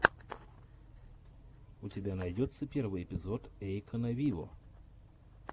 у тебя найдется первый эпизод эйкона виво